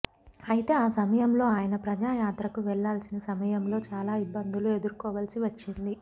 అయితే ఆ సమయంలో ఆయన ప్రజాయాత్రకు వెళ్లాల్సిన సమయంలో చాలా ఇబ్బందులు ఎదుర్కోవలసి వచ్చేది